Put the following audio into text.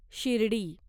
Shirdi